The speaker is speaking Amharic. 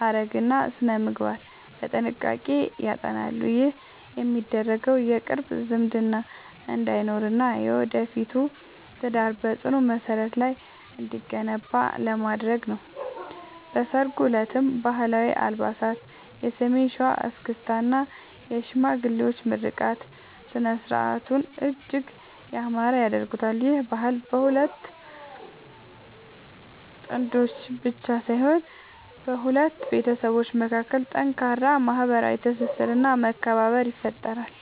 ሐረግና ሥነ-ምግባር በጥንቃቄ ያጠናሉ። ይህ የሚደረገው የቅርብ ዝምድና እንዳይኖርና የወደፊቱ ትዳር በጽኑ መሠረት ላይ እንዲገነባ ለማድረግ ነው። በሠርጉ ዕለትም ባህላዊ አልባሳት፣ የሰሜን ሸዋ እስክስታ እና የሽማግሌዎች ምርቃት ሥነ-ሥርዓቱን እጅግ ያማረ ያደርጉታል። ይህ ባህል በሁለት ጥንዶች ብቻ ሳይሆን በሁለት ቤተሰቦች መካከል ጠንካራ ማኅበራዊ ትስስርና መከባበርን ይፈጥራል።